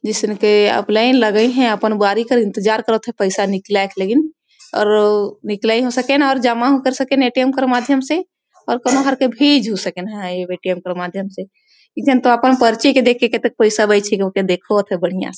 जईसन के आप लाइन लगहिए आपन बारी के इंतजार करत है पईसा निकलाएन लागी और निकलाईन हो सकेन और जमा हो सकेर ए.टी.एम कर के माध्यम से और कौनों हर भीज हो सकये है ए.टी.एम के माध्यम से एकझन त अपन पर्ची के देख़ोत आय।